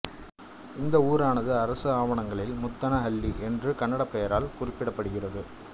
இந்த ஊரானது அரசு ஆவணங்களில் முத்தனஹள்ளி என்ற கன்னடப் பெயரால் குறிக்கப்படுகிறது